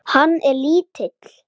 Mönnum svall móður.